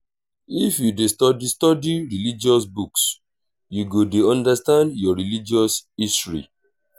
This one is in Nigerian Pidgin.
if you dey study study religious books you go dey understand your religious history